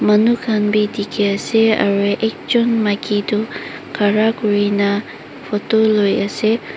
Manu khan bi dekhi ase aro ekjun maki toh khara kurina photo loi ase.